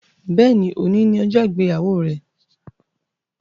Béèni, òní ni ọjọ ìgbéyàwó rẹ